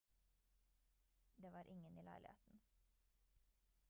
det var ingen i leiligheten